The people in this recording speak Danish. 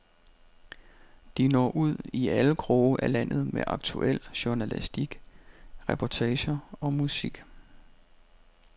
De når ud i alle kroge af landet med aktuel journalistik, reportager og musik.